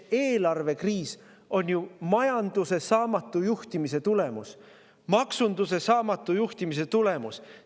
Eelarvekriis on ju majanduse saamatu juhtimise tulemus, maksunduse saamatu juhtimise tulemus.